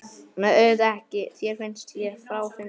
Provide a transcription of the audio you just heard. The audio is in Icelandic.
Nei, auðvitað ekki, þér finnst ég fráhrindandi.